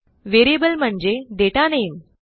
variable म्हणजे दाता नामे